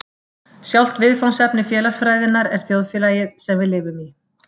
Sjálft viðfangsefni félagsfræðinnar er þjóðfélagið, sem við lifum í.